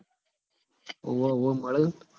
ઓવ ઓવ મળ સ ન